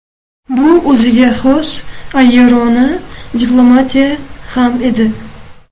Bu o‘ziga xos ayyorona diplomatiya ham edi.